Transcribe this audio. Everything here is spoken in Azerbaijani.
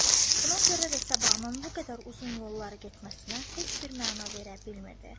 Buna görə də Səbahın bu qədər uzun yollara getməsinə heç bir məna verə bilmirdi.